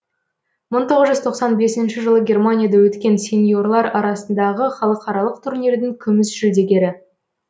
мың тоғыз жүз тоқсан бесінші жылы германияда өткен сеньорлар арасындағы халықаралық турнирдің күміс жүлдегері